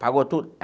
Apagou tudo?